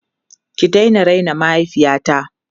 Ki daina raina mahaifiyata!